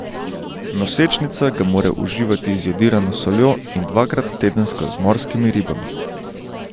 Nosečnica ga mora uživati z jodirano soljo in dvakrat tedensko z morskimi ribami.